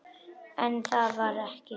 En það var ekki.